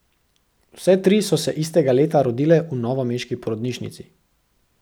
Vse tri so se istega leta rodile v novomeški porodnišnici.